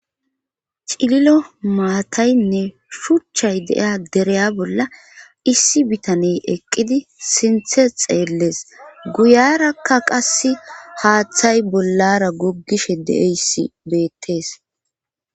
Cililo maataynne shuchchay deiya dereya bolla issi bitaney eqqidi sinthe xeellees guyarakka qas haaththay bollara goggishe deeyssi beettees.